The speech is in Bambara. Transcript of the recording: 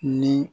Ni